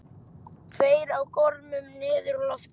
Tveir á gormum niður úr loftinu.